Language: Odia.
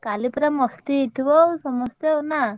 କାଲି ପୁରା ମସ୍ତି ହେଇଥିବ ଆଉ ସମସ୍ତେ ଆଉ ନା?